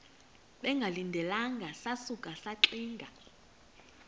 bengalindelanga sasuka saxinga